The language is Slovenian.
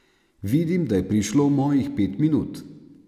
Vidim, da je prišlo mojih pet minut.